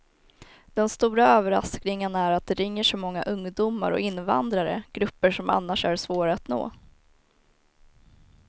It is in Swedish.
Den stora överraskningen är att det ringer så många ungdomar och invandrare, grupper som annars är svåra att nå.